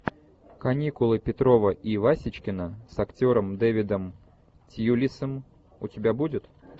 каникулы петрова и васечкина с актером дэвидом тьюлисом у тебя будет